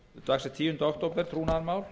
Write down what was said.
dagsett tíunda október trúnaðarmál